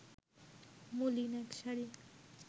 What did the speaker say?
মলিন এক শাড়ি